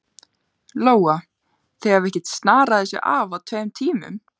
Lóa: Þið hafið ekkert snarað þessu af á tveim tímum?